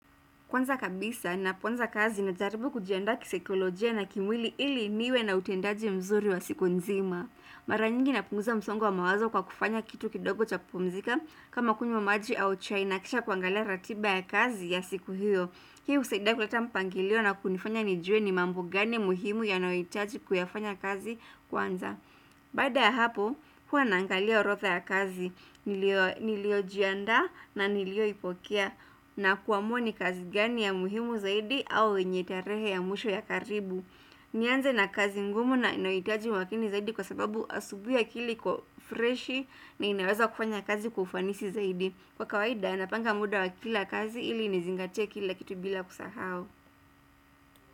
Kwanza kabisa ninapoanza kazi najaribu kujiandaa kisaikolojia na kimwili ili niwe na utendaji mzuri wa siku nzima. Mara nyingi napunguza msongo mawazo kwa kufanya kitu kidogo cha kupumzika kama kunywa maji au chai na kisha kuangalia ratiba ya kazi ya siku hiyo. Hii husaidia kuleta mpangilio na kunifanya nijue ni mambo gani muhimu yanayohitaji kuyafanya kazi kwanza. Baada ya hapo, huwa nangalia orodha ya kazi, niliyojiandaa na niliyoipokea na kuamua kazi gani ya muhimu zaidi au wenye tarehe ya mwisho ya karibu nianze na kazi ngumu na inoyohitaji umakini zaidi kwa sababu asubuhi akili iko freshi na inaweza kufanya kazi kwa ufanisi zaidi Kwa kawaida, napanga muda wa kila kazi ili nizingatie kila kitu bila kusahau.